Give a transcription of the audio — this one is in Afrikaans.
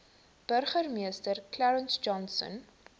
burgemeester clarence johnson